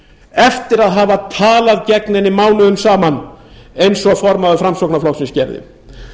eftir að hafa talað gegn henni mánuðum saman eins og formaður framsóknarflokksins gerði